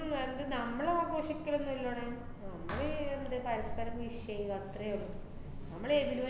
ഉം എന്ത് നമ്മളാഘോഷിക്കലൊന്നും ഇല്ലടെ. നമ്മള് ഈ എന്ത്ന് പരസ്പരം wish എയ്ത്. അത്രേ ഒള്ളൂ, ~മ്മള്എന്ത്